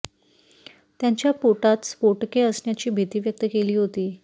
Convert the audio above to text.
त्यांच्या पोटात स्फोटके असण्याची भीती व्यक्त केली होती